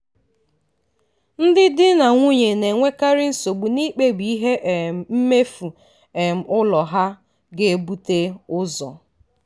ndị di na nwunye na-enwekarị nsogbu n'ikpebi ihe um mmefu um ụlọ ha ga-ebute ụzọ.